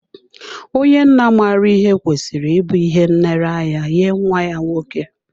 Onye nna maara ihe kwesịrị ịbụ ihe nlereanya nye nwa ya nwoke.